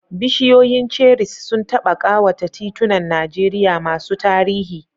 Bishiyoyin cherries sun taɓa ƙawata titunan Najeriya masu tarihi.